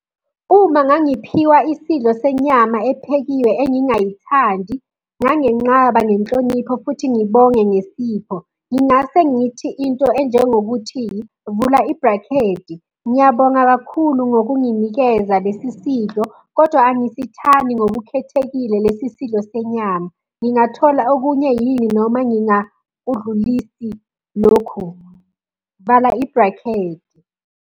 Uma ngangiphiwa isidlo senyama ephekiwe engingayithandi, nganginqaba ngenhlonipho futhi ngibonge ngesipho. Ngingase ngithi into enjengokuthi, vula ibhrakhedi, ngiyabonga kakhulu ngokunginikeza lesi sidlo, kodwa angisithandi ngokukhethekile lesi sidlo senyama. Ngingathola okunye yini noma ngingakudlulisi lokhu, vala ibhrakhedi.